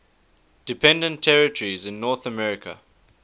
dependent territories in north america